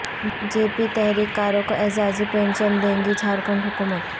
جے P تحریک کاروں کو اعزازی پنشن دے گی جھارکھنڈ حکومت